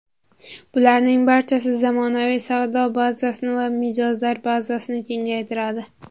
Bularning barchasi zamonaviy savdo bazasini va mijozlar bazasini kengaytiradi.